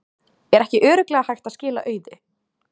Er ekki örugglega hægt að skila auðu?